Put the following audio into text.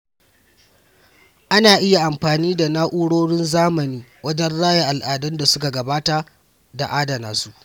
Ana iya amfani da na’urorin zamani wajen raya al’adun da suka gabata da adana su.